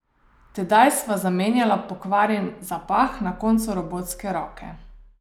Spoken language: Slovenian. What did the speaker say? Tedaj sta zamenjala pokvarjen zapah na koncu robotske roke.